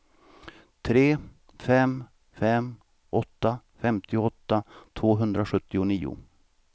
tre fem fem åtta femtioåtta tvåhundrasjuttionio